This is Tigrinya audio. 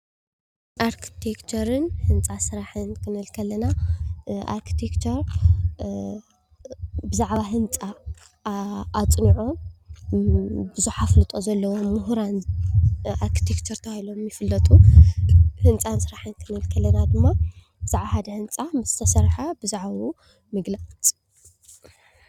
ኣርተክቸርን ህንፃ ስራሕን ክንብል እንተለና ኣርቴክቸር ብዛዕባ ህንፃ ኣፅኒዑ። ብዙሓት ኣፍልጦ ዘለዎ ሙሁራን ኣርቴክቸር ተባሂሎም ይፍለጡ። ህንፃ ስራሕቲ ኸንብል እንተለና ድማ ብዛዕባ ሓደ ህንፃ ምስ ተሰረሐ ብዛዕብኡ ምግላፅ።